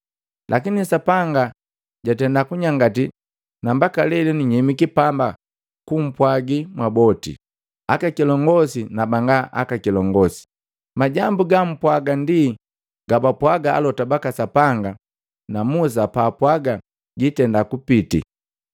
Lakini Sapanga jatenda kunyangati na mbaka lelenu nyemiki pamba kumpwagi mwaboti, akakilongosi na banga kilongosi. Majambu gampwaga ndi gabapwaga alota baka Sapanga na Musa bapwaga giitenda kupiti,